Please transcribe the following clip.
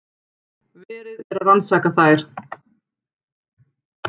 Verið er að rannsaka þær